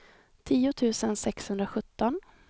tio tusen sexhundrasjutton